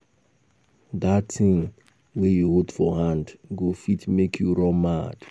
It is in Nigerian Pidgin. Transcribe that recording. Dat thing wey you hold for hand go fit make you run mad